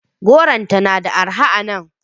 Goron tana da arha a nan.